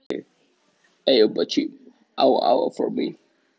Eriks látið skrá mig á fjölmennt kristilegt stúdentamót.